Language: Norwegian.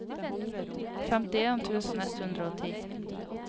femtien tusen ett hundre og ti